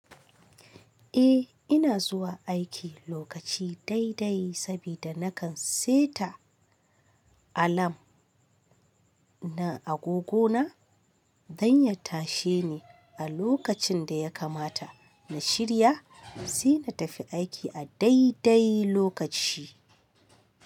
Eh ina zuwa aiki lokaci daidai sabida nakan saita alam na agogona. Don ya tashe ni a lokacin da ya kamata in shirya, sai na tafi aiki a daidai lokaci.